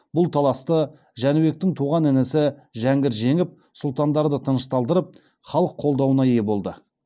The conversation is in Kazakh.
бұл таласты жәнібектің туған інісі жәңгір жеңіп сұлтандарды тынышталдырып халық қолдауына ие болды